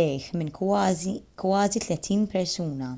lejh minn kważi tletin persuna